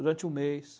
Durante um mês.